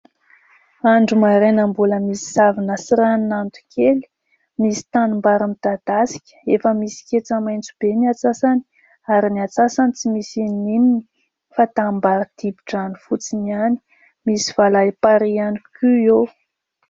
Andro maraina mbola misy zavona sy ranon'ando kely . Misy tanim-bary midadasika efa misy ketsa maintso be ny antsasany ary ny antsasany tsy misy na inona na inona fa tanim-bary dibo-drano fotsiny iany. Misy valam-parihy iany koa eo.